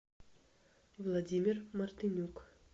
владимир мартынюк